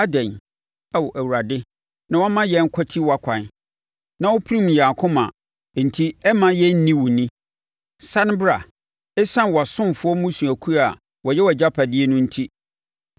Adɛn, Ao Awurade, na woma yɛn kwati wʼakwan na wopirim yɛn akoma enti ɛmma yɛn nni wo ni? Sane bra ɛsiane wʼasomfoɔ, mmusuakuo a wɔyɛ wʼagyapadeɛ no enti.